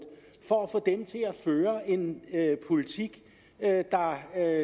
for at få dem til at føre en politik der